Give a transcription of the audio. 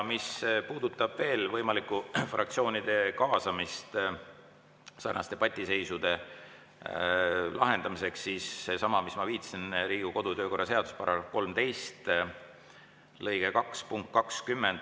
Mis puudutab veel võimalikku fraktsioonide kaasamist sarnaste debatiseisude lahendamiseks, siis ma viitasin Riigikogu kodu‑ ja töökorra seaduse § 13 lõike 2 punktile 20.